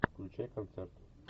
включай концерт